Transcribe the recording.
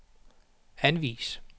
anvis